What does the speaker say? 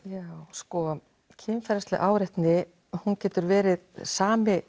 sko kynferðisleg áreitni getur verið sama